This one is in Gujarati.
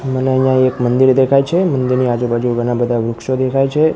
મને અહીંયા એક મંદિર દેખાય છે મંદિરની આજુબાજુ ઘણા બધા વૃક્ષો દેખાય છે.